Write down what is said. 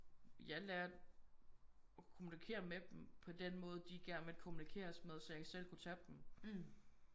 Jeg lærte at kommunikere med dem på den måde de gerne ville kommunikeres med så jeg ikke selv kunne tage dem